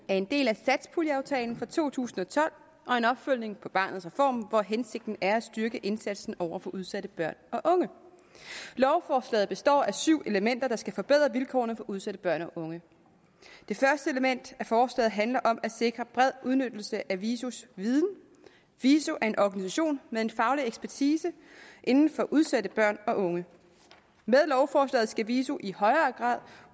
af en del af satspuljeaftalen for to tusind og tolv og en opfølgning på barnets reform hvor hensigten er at styrke indsatsen over for udsatte børn og unge lovforslaget består af syv elementer der skal forbedre vilkårene for udsatte børn og unge det første element af forslaget handler om at sikre bred udnyttelse af visos viden viso er en organisation med en faglig ekspertise inden for området udsatte børn og unge med lovforslaget skal viso i højere grad